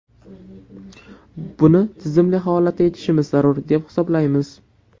Buni tizimli holatda yechishimiz zarur, deb hisoblaymiz.